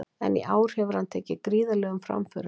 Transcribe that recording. En í ár hefur hann tekið gríðarlegum framförum.